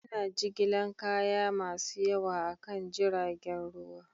Ana jigilar kaya masu yawa akan jiragen ruwa